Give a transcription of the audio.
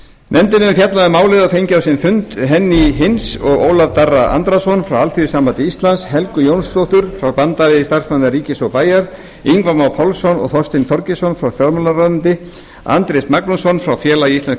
nefndin hefur fjallað um málið og fengið á sinn fund hennýju hinz og ólaf darra andrason frá alþýðusambandi íslands helgu jónsdóttur frá bandalagi starfsmanna ríkis og bæja ingva má pálsson og þorstein þorgeirsson frá fjármálaráðuneyti andrés magnússon frá félagi íslenskra